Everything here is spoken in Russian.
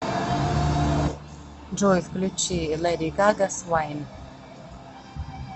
джой включи лэди гага свайн